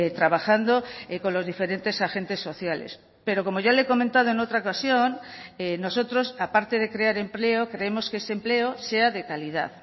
trabajando con los diferentes agentes sociales pero como ya le he comentado en otra ocasión nosotros aparte de crear empleo creemos que ese empleo sea de calidad